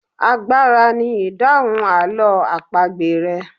Àgbàrá ni idahun àlọ́ àpagbè rẹ.